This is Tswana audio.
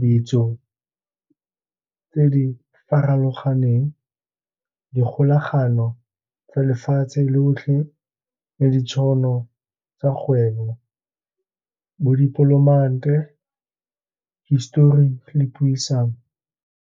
ditso tse di farologaneng, dikgolagano tsa lefatshe lotlhe le ditšhono tsa kgwebo, dipolomate, histori le puisano.